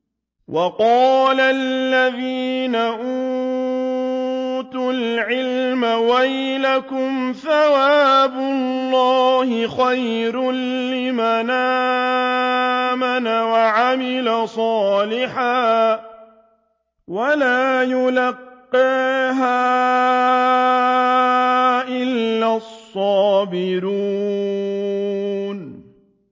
وَقَالَ الَّذِينَ أُوتُوا الْعِلْمَ وَيْلَكُمْ ثَوَابُ اللَّهِ خَيْرٌ لِّمَنْ آمَنَ وَعَمِلَ صَالِحًا وَلَا يُلَقَّاهَا إِلَّا الصَّابِرُونَ